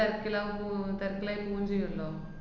തെരക്കിലാവാന്‍ പോകുന്നെ. തെരക്കിലായി പോവും ചെയ്യൂല്ലൊ.